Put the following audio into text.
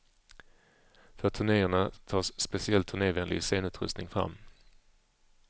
För turnéerna tas speciell turnévänlig scenutrustning fram.